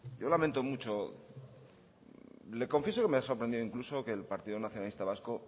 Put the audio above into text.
yo lamento mucho le confieso que me ha sorprendido incluso que el partido nacionalista vasco